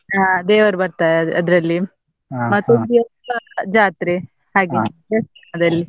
ಹಾ ದೇವರು ಬರ್ತಾರೆ ಅದ್ರಲ್ಲಿ, ದೇವಸ್ಥಾನ ಜಾತ್ರೆ ಅದಲ್ಲಿ.